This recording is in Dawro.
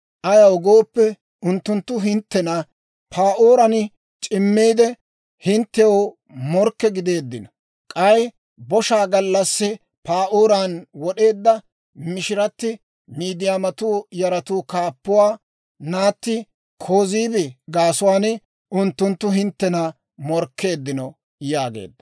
Ayaw gooppe, unttunttu hinttena Pa'ooran c'immiidde, hinttew morkke gideeddino; k'ay boshaa gallassi Pa'ooran wod'eedda mishiratti, Midiyaamatuu yaraa kaappuwaa naatti Kozibi gaasuwaan unttunttu hinttena morkkeeddino» yaageedda.